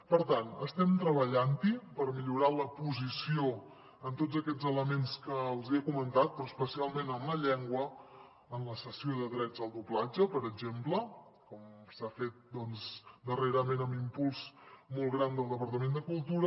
per tant estem treballant per millorar la posició en tots aquests elements que els he comentat però especialment en la llengua en la cessió de drets al doblatge per exemple com s’ha fet darrerament amb un impuls molt gran del departament de cultura